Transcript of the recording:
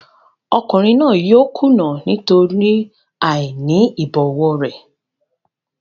Ọkùnrin náà yóò kùnà nítorí àìní ìbọ̀wọ̀ rẹ̀.